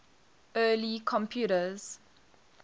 early computers